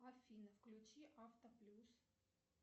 афина включи автоплюс